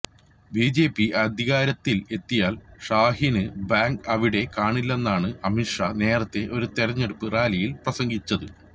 BJP അധികാരത്തില് എത്തിയാല് ഷഹീന് ബാഗ് അവിടെ കാണില്ലെന്നാണ് അമിത് ഷാ നേരത്തെ ഒരു തെരഞ്ഞെടുപ്പ് റാലിയില് പ്രസംഗിച്ചത്